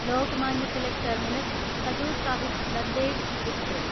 Lokmanya Tilak terminus Hazur Sahib Nanded express